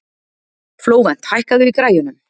Flóvent, hækkaðu í græjunum.